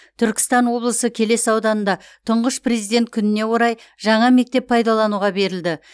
түркістан облысы келес ауданында тұңғыш президент күніне орай жаңа мектеп пайдалануға берілді